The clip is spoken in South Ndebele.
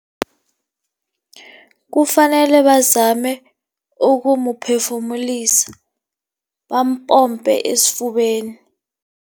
Kufanele bazame ukumphefumulisa, bampompe esifubeni.